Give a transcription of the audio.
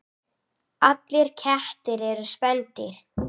Allir kettir eru spendýr